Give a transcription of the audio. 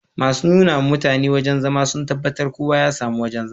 Masun nuna ma mutane wajen zama sun tabatar kowa ya samu wojen zama